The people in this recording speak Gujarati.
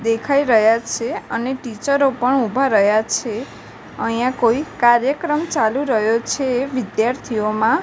દેખાય રહ્યા છે અને ટીચરો પણ ઉભા રહ્યા છે અહીંયા કોઈ કાર્યક્રમ ચાલુ રહ્યો છે વિદ્યાર્થીઓમાં.